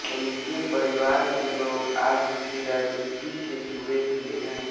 इनके परिवार के लोग आज भी राजनीति से जुड़े हुए हैं